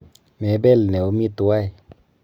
Mebel neomi tuwai.